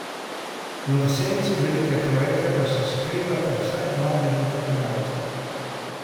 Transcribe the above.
V senci velike trojke pa se skrivata vsaj dva velika igralca.